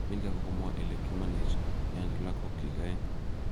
Milcah kokamwa ele kimanech enda lagok kyik aeng